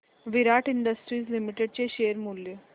विराट industries limited चे share मूल्य